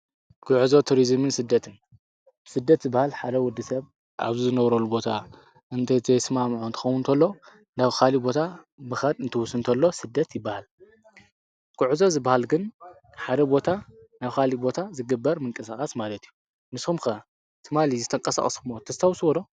ጕዕዞ ቱርዝምን ስደትን ስደት ዝበሃል ሓደ ወዲ ሰብ ኣብ ዝነውረሉ ቦታ እንተዘይተ ስማዕምዖ እንትኾዉ እንተሎ ናብ ኻሊእ ቦታ ምኻድ እንትውስ እንተሎ ስደት ይበሃል፡፡ ጕዕዞ ዝበሃል ግን ሓደ ቦታ ናብ ኻሊአ ቦታ ዝግበር ምንቀሳቓት ማለት እዩ፡፡ ንስኹም ከ ትማሊ ዝተቀሳቕስክምዎ ተስተውዕሉ ዶ?